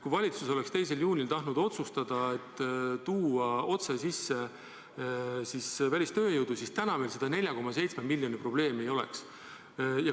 Kui valitsus oleks 2. juunil tahtnud otsustada, et võib tuua sisse välistööjõudu, siis täna meil 104,7 miljoni probleemi ei oleks.